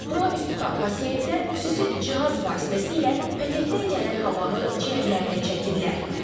Bura üz tutan pasientlər xüsusi cihaz vasitəsilə pətəkdən gələn havanı ciyərlərinə çəkirlər.